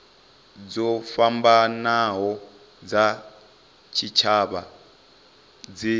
dzo fhambanaho dza tshitshavha dzi